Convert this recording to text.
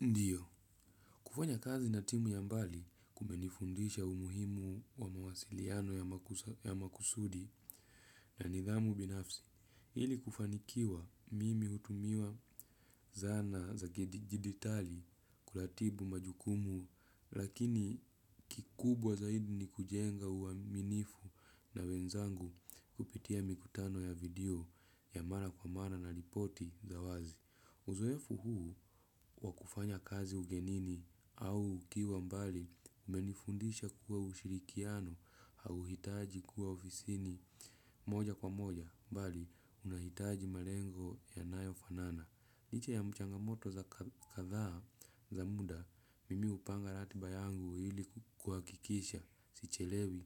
Ndiyo, kufanya kazi na timu ya mbali kumenifundisha umuhimu wa mawasiliano ya makusudi na nidhamu binafsi, hili kufanikiwa mimi utumiwa zana za jiditali kulatibu majukumu lakini kikubwa zaidi ni kujenga uwaminifu na wenzangu kupitia mikutano ya video ya mara kwa mara na ripoti za wazi. Uzoefu huu wakufanya kazi ugenini au ukiwa mbali umenifundisha kuwa ushirikiano hauhitaji kuwa ofisini moja kwa moja mbali unahitaji malengo yanayo fanana. Licha ya mchangamoto za katha za muda mimi upanga ratiba yangu hili kuakikisha sichelewi